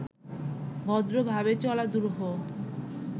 ভদ্রভাবে চলা দুরূহ